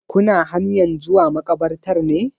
Kuna hanyan zuwa maƙabartar ne?